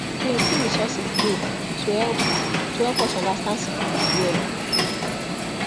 plenty resources dey to help to help us understand syphilis well